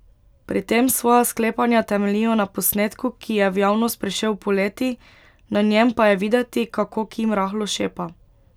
Pri tem svoja sklepanja temeljijo na posnetku, ki je v javnost prišel poleti, na njem pa je videti, kako Kim rahlo šepa.